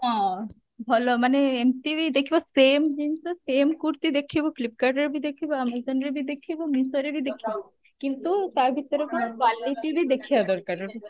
ହଁ ଭଲ ମାନେ ଏମତି ବି ଦେଖିବ same ଜିନିଷ same kurti ଦେଖିବ flipkart ରେ ବି ଦେଖିବ amazon ରେ ବି ଦେଖିବ myntra ରେ ବି ଦେଖିବ କିନ୍ତୁ ତା ଭିତରେ quality ବି ଦେଖିବା ଦରକାର